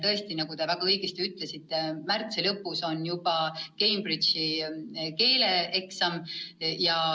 Tõesti, nagu te väga õigesti ütlesite, märtsi lõpus on juba Cambridge'i keeleeksam.